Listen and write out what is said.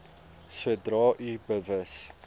sodra u bewus